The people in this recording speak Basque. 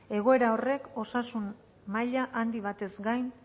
egoera horrek osasun maila handi batez gain